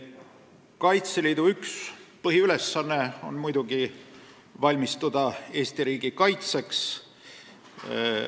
Kaitseliidu üks põhiülesanne on muidugi valmistuda Eesti riigi kaitseks.